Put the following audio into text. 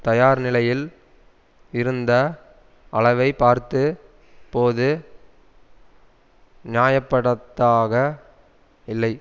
தயார் நிலையில் இருந்த அளவை பார்த்து போது நியாயப்படுதாக இல்லை